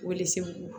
Welesebugu